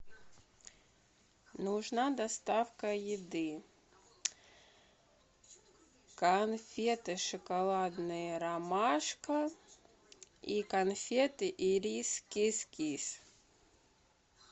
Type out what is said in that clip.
нужна доставка еды конфеты шоколадные ромашка и конфеты ирис кис кис